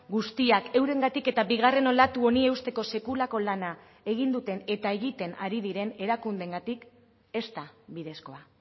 guztiak eurengatik eta bigarren olatu honi eusteko sekulako lana egin duten eta egiten ari diren erakundeengatik ez da bidezkoa